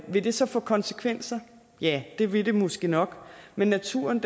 vil det så få konsekvenser ja det vil det måske nok men naturen